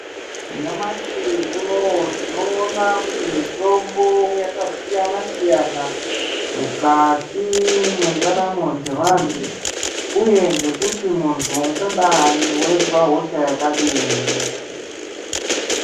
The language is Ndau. Nyamashi unou tinoona kuti mitombo yakasiyana siyana mukati mwendaramo dzevanthu uye ngekuti munthu ungadai weizwa hosha yakadini .